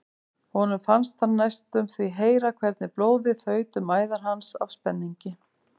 Honum fannst hann næstum því heyra hvernig blóðið þaut um æðar hans af spenningi.